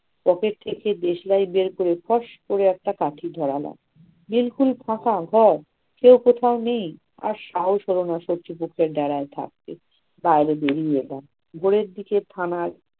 pocket থেকে দেশলাই বের করে ফস করে একটা কাঠি ধরালাম। বিলকুল ফাঁকা ঘর, কেউ কোথাও নেই! আর সাহস হলো না শত্রু পক্ষের ডেরায় থাকতে ভোরের দিকে থানার